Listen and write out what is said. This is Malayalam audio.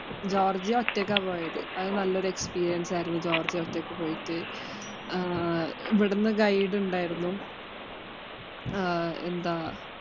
ആഹ് ജോര്‍ജിയ ഒറ്റക്കാ പോയത്. അത് നല്ല ഒരു experience ആയിരുന്നു. ജോര്‍ജിയ ഒറ്റയ്ക്ക് പോയിട്ട് guide ഉണ്ടായിരുന്നു എന്താ